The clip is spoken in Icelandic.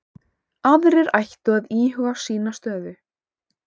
Aðrir ættu að íhuga sína stöðu